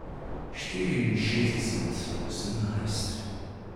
Štiriinšestdeset osemnajst.